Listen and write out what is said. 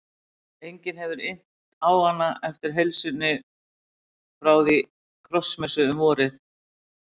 Enginn hafði innt hana eftir heilsunni frá því á krossmessu um vorið.